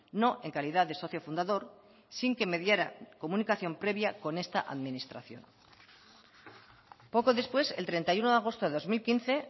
no en calidad de socio fundador sin que mediara comunicación previa con esta administración poco después el treinta y uno de agosto de dos mil quince